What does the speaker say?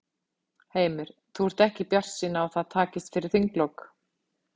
Heimir: Þú ert ekki bjartsýn á að það takist fyrir þinglok?